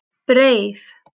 Breið